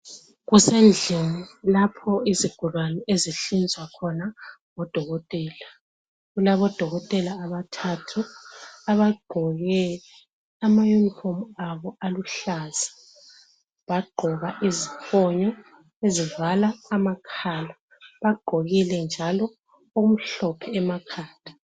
Kusendlini lapho izigulani ezihlinzwa khona ngodokotela. Kulabo dokotela abathathu abagqoke amayunifomu abo aluhlaza, bagqoka iziphonyo ezivala amakhala, bagqokile njalo okumhlophe emakhanda.